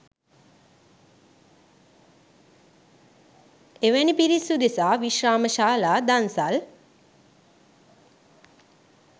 එවැනි පිරිස් උදෙසා විශ්‍රාමශාලා දන්සැල්